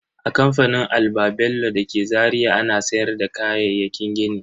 A kamfanin Alba-bello dake Zaria ana sayar da kayayyakin gini.